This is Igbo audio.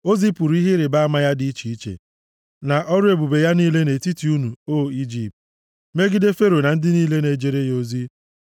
O zipụrụ ihe ịrịbama ya dị iche iche na ọrụ ebube ya niile nʼetiti unu, o Ijipt, megide Fero na ndị niile na-ejere ya ozi.